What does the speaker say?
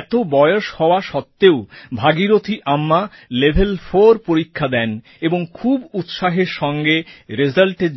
এত বয়স হওয়া সত্ত্বেও ভাগীরথী আম্মা লেভেলফোর পরীক্ষা দেন এবং খুব উৎসাহের সঙ্গে রেজাল্টএর